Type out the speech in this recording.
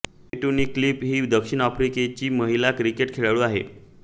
फे टूनीक्लीफ ही दक्षिण आफ्रिकेची महिला क्रिकेट खेळाडू आहे